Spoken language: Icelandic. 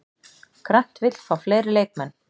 Grant vill fá fleiri leikmenn